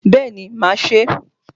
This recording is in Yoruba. Bẹ́ẹ̀ni mà á se é